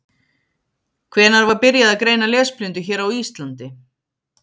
Hvenær var byrjað að greina lesblindu hér á Íslandi?